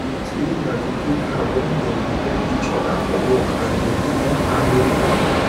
wait area go dey calm wen dem dey help each other for work and dem dey help her no dey worry